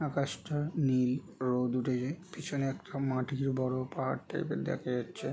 আকাশটা নীল। রোদ উঠছে। পিছনে একটা মাটির বড়ো পাহাড় টাইপ -এর দেখা যাচ্ছে ।